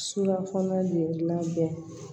Sukaro de labɛn